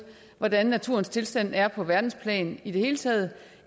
hvordan naturens tilstand er på verdensplan i det hele taget